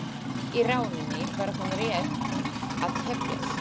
Í rauninni var hún rétt að hefjast.